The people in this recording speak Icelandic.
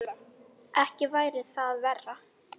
Ekki væri það verra!